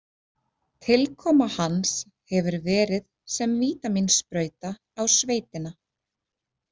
Tilkoma hans hefur verið sem vítamínsprauta á sveitina“.